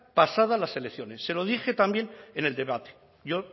pasadas las elecciones se lo dije también en el debate yo